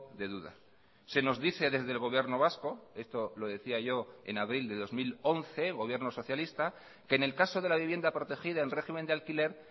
de duda se nos dice desde el gobierno vasco esto lo decía yo en abril de dos mil once gobierno socialista que en el caso de la vivienda protegida en régimen de alquiler